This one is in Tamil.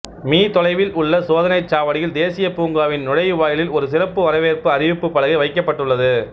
மீ தோலைவில் உள்ள சோதனைச் சாவடியில் தேசிய பூங்காவின் நுழைவாயிலில் ஒரு சிறப்பு வரவேற்பு அறிவுப்புப் பலகை வைக்கப்பட்டுள்ளது